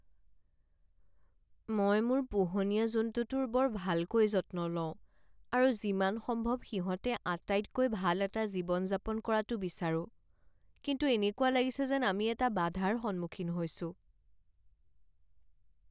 মই মোৰ পোহনীয়া জন্তুটোৰ বৰ ভালকৈ যত্ন লওঁ আৰু যিমান সম্ভৱ সিহঁতে আটাইতকৈ ভাল এটা জীৱন যাপন কৰাটো বিচাৰোঁ, কিন্তু এনেকুৱা লাগিছে যেন আমি এটা বাধাৰ সন্মুখীন হৈছোঁ।